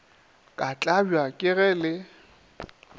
ke tlabja ke ge le